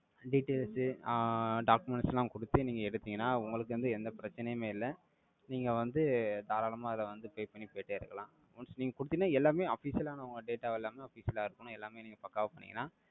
details உ ஆஹ் documents எல்லாம் கொடுத்து, நீங்க எடுத்தீங்கன்னா, உங்களுக்கு வந்து, எந்த பிரச்சனையுமே இல்லை நீங்க வந்து, தாராளமா அதை வந்து, pay பண்ணி, போயிட்டே இருக்கலாம். Once, நீங்க குடுத்தீங்கன்னா, எல்லாமே, official ஆன, உங்க data எல்லாமே, official ஆ இருக்கணும். எல்லாமே, நீங்க, பக்காவா பண்ணிங்கன்னா.